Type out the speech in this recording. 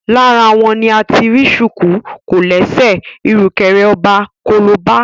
Lára wọn ni a ti rí ṣùkú, kòlẹ́sẹ̀, ìrùkẹ̀rẹ̀ ọba, kolobá